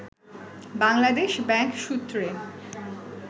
Bangladesh bank সূত্রে